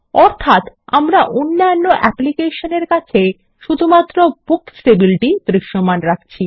অর্থাত আমরা অন্যান্য অ্যাপ্লিকেশনের কাছে শুধুমাত্র বুকস টেবিল দৃশ্যমান রাখছি